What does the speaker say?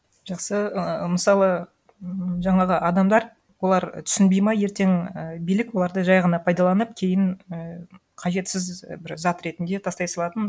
жақсы ыыы мысалы м жаңағы адамдар олар түсінбейді ма ертең і билік оларды жай ғана пайдаланып кейін і қажетсіз бір зат ретінде тастай салатынын